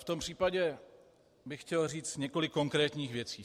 V tom případě bych chtěl říct několik konkrétních věcí.